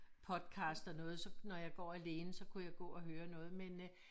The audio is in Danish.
Podcast og noget så når jeg går alene så kunne jeg gå og høre noget men øh